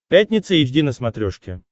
пятница эйч ди на смотрешке